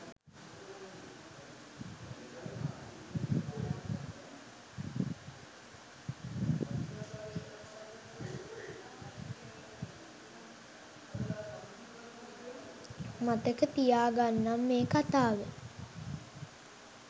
මතක තියාගන්නම් මේ කතාව